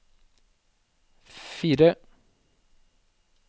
fire